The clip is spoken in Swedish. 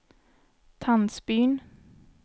Tandsbyn